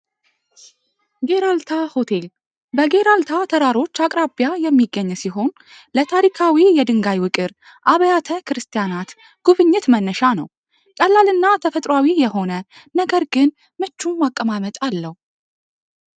አልተወራሮች አቅራቢያ የሚገኝ ሲሆን ለታሪካዊ የድንጋይ አብያተ ክርስቲያናት ጉብኝት መነሻ ነው ጠላ ተፈጥሯዊ የሆነ ነገር ግን አቀማመጫ አለው